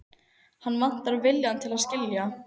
Hann vantar viljann til að skilja.